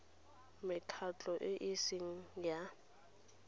mekgatlho e e seng ya